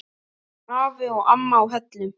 Afi og amma á Hellum.